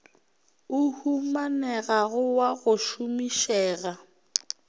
o humanegago wa go šomišega